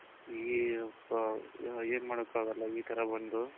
ಈ ಏನ್ ಮಾಡೋಕು ಆಗಲ್ಲ ಇ ತರ ಒಂದು